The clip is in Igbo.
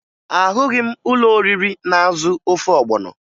Ahụghị m ụlọoriri na-azụ ofe ọgbọnọ